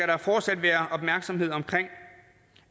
der fortsat være opmærksomhed omkring